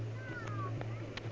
tlhekelo